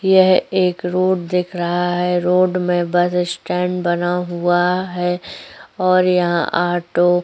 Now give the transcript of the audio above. यहँ एक रोड दिख रहा है। रोड में बस स्टैंड बना हुआ है और यहाँ ऑटो --